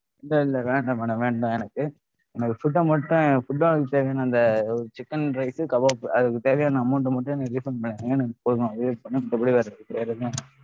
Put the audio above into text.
இல்ல இல்ல வேண்டாம் madam வேண்டாம் எனக்கு. எனக்கு food அ மட்டும் food ஆ அனுப்பிச்ச அந்த chicken rice உ kebab அதுக்கு தேவையான amount அ மட்டும் எனக்கு refund பண்ணிடுங்க எனக்கு போதும். அதுவே போதும் மித்தபடி எனக்கு வேற எதும் வேண்டாம்.